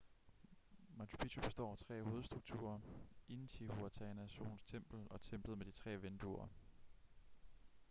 machu picchu består af tre hovedstrukturer intihuatana solens tempel og templet med de tre vinduer